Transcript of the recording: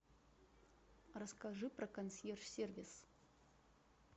расскажи про консьерж сервис